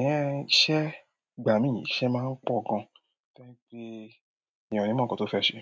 Eh, iṣẹ́-- ìgbà mí iṣẹ́ máa ń pọ̀ gan, to je ẹyan o ni mo ǹkan tó fẹ́ ṣe.